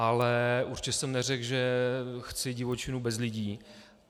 Ale určitě jsem neřekl, že chci divočinu bez lidí.